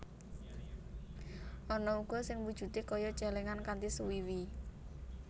Ana uga sing wujudé kaya cèlèngan kanthi swiwi